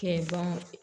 Kɛ